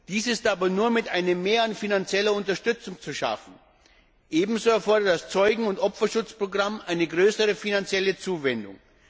Dies ist aber nur mit einem Mehr an finanzieller Unterstützung zu schaffen. Ebenso erfordert das Zeugen und Opferschutzprogramm eine größere finanzielle Zuwendung.